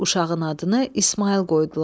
Uşağın adını İsmayıl qoydular.